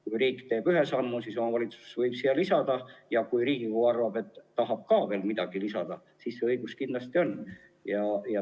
Kui riik teeb ühe sammu, siis omavalitsus võib seda täiendada, ja kui Riigikogu arvab, et tahab samuti midagi lisada, siis see õigus tal on.